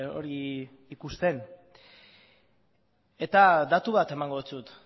hori ikusten datu bat emango dizut